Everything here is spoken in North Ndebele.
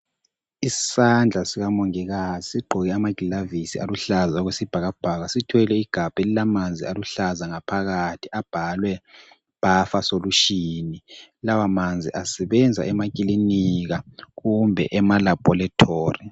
Isandla sikamongikazi sigqoke amaglavisi aluhlaza okwesibhakabhaka, sithwele igabha elilamanzi aluhlaza ngaphakathi abhalwe bhafa solushini. Lawa manzi asebenza emakilinika kumbe emalabholethori.